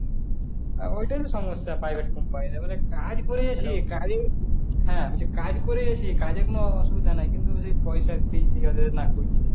হ্যাঁ ওইটাই তো সমস্যা privet company এর এ বলে কাজ করিযেছি কাজের কাজ করিযেছি কাজের অসুবিধা নাই কিন্তু ওই পয়সা